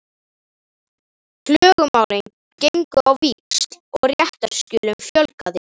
Klögumálin gengu á víxl og réttarskjölum fjölgaði.